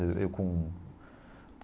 Eu com...